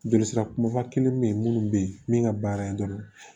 Joli sira kumaba kelen bɛ yen minnu bɛ yen min ka baara ye dɔrɔn